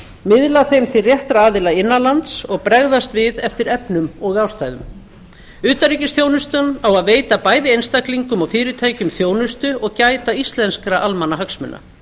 miðla þeim til réttra aðila innan lands og bregðast við eftir efnum og ástæðum utanríkisþjónustan á að veita bæði einstaklingum og fyrirtækjum þjónustu og gæta íslenskra almannahagsmuna